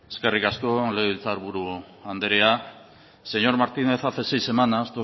eskerrik asko legebiltzar buru andrea señor martínez hace seis semanas